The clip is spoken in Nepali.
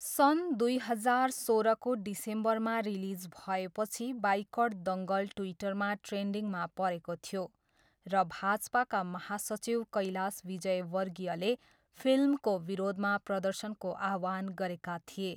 सन् दुई हजार सोह्रको डिसेम्बरमा रिलिज भएपछि बाइकट दङ्गल ट्विटरमा ट्रेन्डिङमा परेको थियो र भाजपाका महासचिव कैलाश विजयवर्गीयले फिल्मको विरोधमा प्रदर्शनको आह्वान गरेका थिए।